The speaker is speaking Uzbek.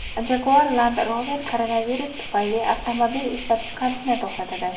Jaguar Land Rover koronavirus tufayli avtomobil ishlab chiqarishni to‘xtatadi.